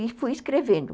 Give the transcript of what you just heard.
E fui escrevendo.